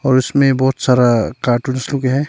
और उसमें बहुत सारा कार्टूंस लोग है।